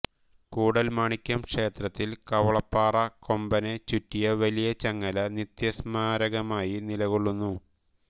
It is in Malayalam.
കൂടൽമാണിക്യം ക്ഷേത്രത്തിൽ കവളപ്പാറ കൊമ്പനെ ചുറ്റിയ വലിയ ചങ്ങല നിത്യസ്മാരകമായി നിലക്കൊള്ളുന്നു